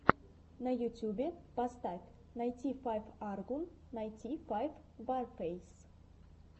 на ютюбе поставь найти файв аргун найти файв варфейс